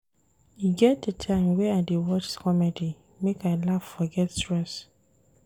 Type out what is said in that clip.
E get di time wey I dey watch comedy make I laugh forget stress.